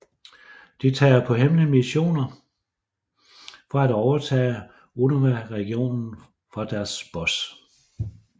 De tager på hemmelige missionerer for at overtage Unova Regionen for deres Boss